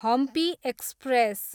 Hampi express